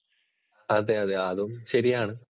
അതെ, അതെ. അതും ശരിയാണ്